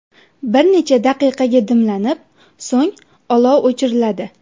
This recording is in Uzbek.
Bir necha daqiqaga dimlanib, so‘ng olov o‘chiriladi.